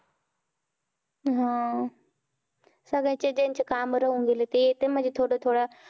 हा सगळ्यांचे ज्यांचे काम राहून गेले, ते येतंय म्हणजे थोडं थोडं.